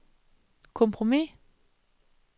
kompromis